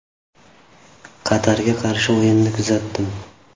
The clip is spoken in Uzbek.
“Qatarga qarshi o‘yinni kuzatdim.